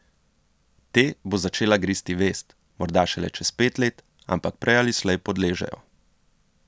Te bo začela gristi vest, morda šele čez pet let, ampak prej ali slej podležejo.